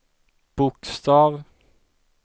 bokstav